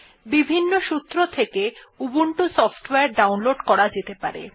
বিভিন্ন সূত্র থেকে উবুন্টু সফটওয়ারে ডাউনলোড করা যেতে পারে